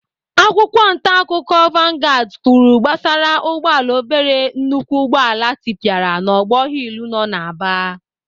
Akwụkwọ ntaakụkọ vanguards kwuru gbasara ụgbọala obere nnukwu ụgbọala tịpịara n'ogbor hill nọ n'Aba.